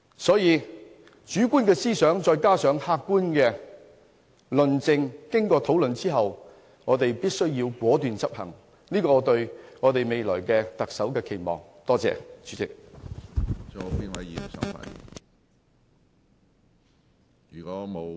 所以，主觀思想加上客觀論證，再經過討論，我們便必須果斷執行，使對未來特首的期望能實現。